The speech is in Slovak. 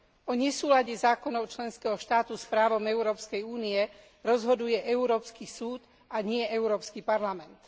O nesúlade zákonov členského štátu s právom Európskej únie rozhoduje Európsky súd, a nie Európsky parlament.